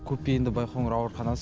көпбейінді байқоңыр ауруханасы